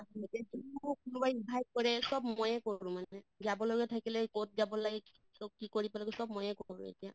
কোনোবাই invite কৰে চব ময়ে কৰোঁ মানে যাবলগিয়া থাকিলে কʼত যাব লাগে কি কৰিব লাগে চব ময়ে কৰোঁ এতিয়া